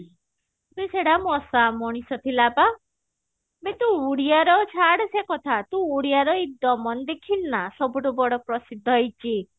କି ସେଟା ମଶା ମଣିଷ ଥିଲା ପା ମତେ ଉଡିଆ ର ଛାଡେ ସେ କଥା ତୁ ଓଡିଆ ର ଦେଖିଲୁନା ସବୁଠୁ ବଡ ପ୍ରସିଦ୍ଧ ହେଇଛି